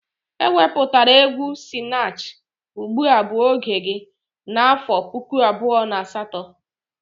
E wepụtara egwu Sinach "ugbua bu oge gi' n'afọ puku abụọ na asatọ